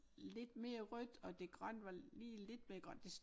Lidt mere rødt og det grønne var lige lidt mere grønt det